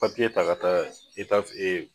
Papiye ta ka taa